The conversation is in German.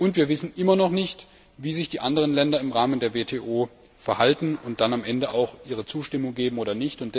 Und wir wissen immer noch nicht, wie sich die anderen Länder im Rahmen der WTO verhalten und ob sie dann am Ende ihre Zustimmung geben werden.